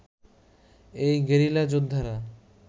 এই গেরিলা যোদ্ধারা